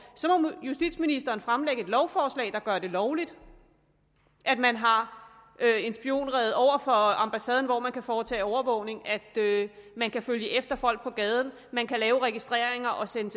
så må justitsministeren fremsætte et lovforslag der gør det lovligt at man har lavet en spionrede over for ambassaden hvorfra man kan foretage overvågning at man kan følge efter folk på gaden at man kan lave registreringer og sende